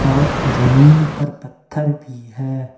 और जमीन पर पत्थर भी है।